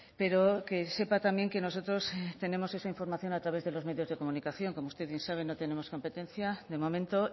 pero que sepa también que nosotros tenemos esa información a través de los medios de comunicación como usted bien sabe no tenemos competencia de momento